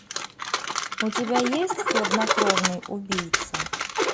у тебя есть хладнокровный убийца